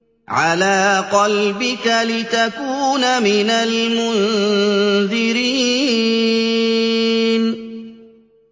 عَلَىٰ قَلْبِكَ لِتَكُونَ مِنَ الْمُنذِرِينَ